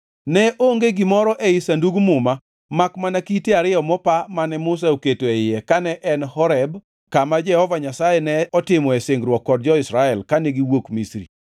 Ne onge gimoro ei Sandug Muma makmana kite ariyo mopa mane Musa oketo e iye kane en Horeb kama Jehova Nyasaye ne otimoe singruok kod jo-Israel kane gisewuok Misri.